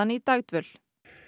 í dagdvöl